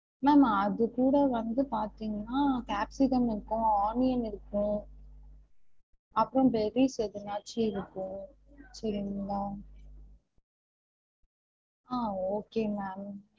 Ma'am அது கூட வந்து பாத்திங்கனா capsicum இருக்கும் onion இருக்கும் அப்புறம் எதனாச்சு இருக்கும் சரிங்களா ஆஹ் okay ma'am